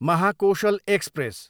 Mahakoshal express